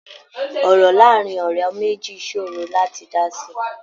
Ọ̀rọ̀ láàárín ọ̀rẹ́ méjì ṣòro láti dá sí.